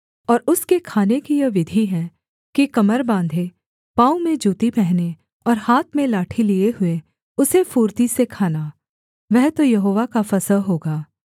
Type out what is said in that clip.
और उसके खाने की यह विधि है कि कमर बाँधे पाँव में जूती पहने और हाथ में लाठी लिए हुए उसे फुर्ती से खाना वह तो यहोवा का फसह होगा